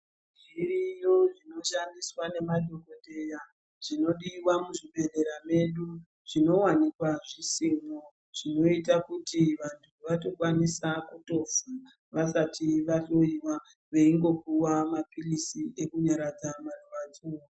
Zviriyo zvinoshandiswa nemadhokodheya zvinodiwa muzvibhehlera medu, zvinowanikwa zvisimo zvinoita kuti vantu vatokwanisa kutofa vasati vahloyiwa veingopiwa maphilisi ekunyaradza marwadzo.